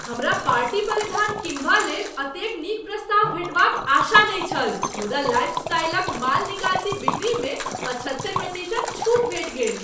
हमरा पार्टी परिधान किनबा लेल एतेक नीक प्रस्ताव भेटबाक आशा नहि छल मुदा लाइफस्टाइलक माल निकासी बिक्रीमे पचहत्तरि प्रतिशत छूट भेटि गेल।